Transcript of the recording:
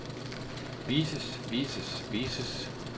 vises vises vises